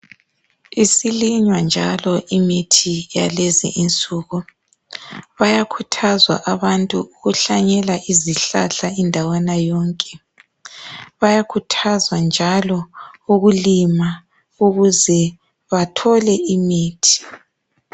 Isilinywa njalo imithi yalezi insuku. Bayakhuthazwa abantu ukuhlanyela izihlahla indawana yonke. Bayakhuthazwa njalo ukulima ukuze bathole imithi.